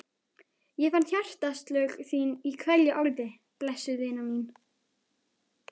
Ég fann hjartaslög þín í hverju orði, blessuð vina mín.